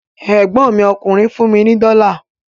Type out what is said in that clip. Ẹ̀gbọ́n mi ọkùnrin fún mi ní dọ́la